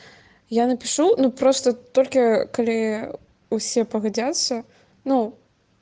я напишу но просто только кали усе погадятся ну